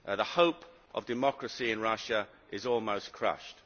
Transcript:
The hope of democracy in Russia is almost crushed.